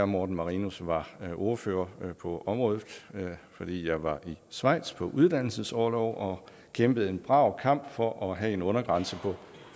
morten marinus var ordfører på området fordi jeg var i schweiz på uddannelsesorlov og kæmpede en brav kamp for at have en undergrænse på